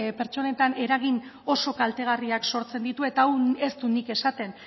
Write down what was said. pertsonetan eragin oso kaltegarriak sortzen ditu eta hau ez dut nik esaten